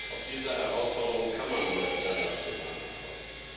Auf diese Herausforderung kann man nur international antworten.